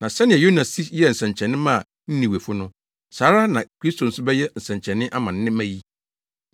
Na sɛnea Yona si yɛɛ nsɛnkyerɛnne maa Ninewefo no, saa ara na Kristo nso bɛyɛ nsɛnkyerɛnne ama nnɛ mma yi.